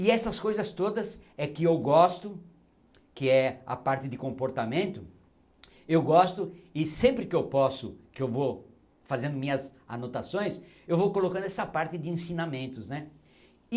E essas coisas todas é que eu gosto, que é a parte de comportamento, eu gosto e sempre que eu posso, que eu vou fazendo minhas anotações, eu vou colocando essa parte de ensinamentos né.